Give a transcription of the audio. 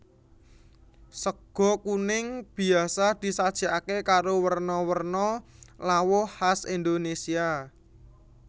Sega kuning biasa disajèkaké karo werna werna lawuh khas Indonésia